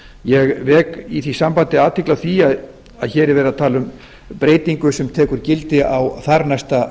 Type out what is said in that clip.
ég vek í því sambandi athygli á því að hér er verið að tala um breytingu sem tekur gildi á þarnæsta